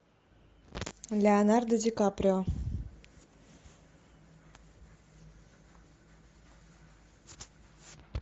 леонардо ди каприо